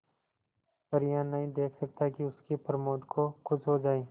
पर यह नहीं देख सकता कि उसके प्रमोद को कुछ हो जाए